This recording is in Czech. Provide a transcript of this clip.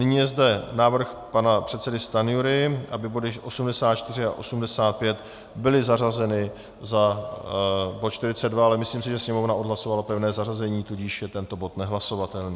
Nyní je zde návrh pana předsedy Stanjury, aby body 84 a 85 byly zařazeny za bod 42, ale myslím si, že Sněmovna odhlasovala pevné zařazení, tudíž je tento bod nehlasovatelný.